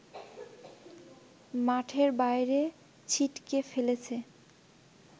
মাঠের বাইরে ছিটকে ফেলেছে